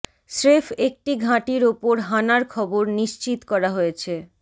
স্রেফ একটি ঘাঁটির ওপর হানার খবর নিশ্চিত করা হয়েছে